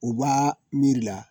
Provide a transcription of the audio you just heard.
U b'a miirila